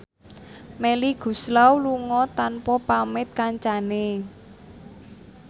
Melly Goeslaw lunga tanpa pamit kancane